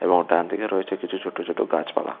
এবং ডানদিকে রয়েছে কিছু ছোট ছোট গাছপালা।